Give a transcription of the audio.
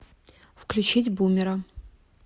включить бумера